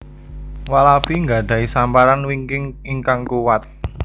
Walabi nggadhahi samparan wingking ingkang kuwat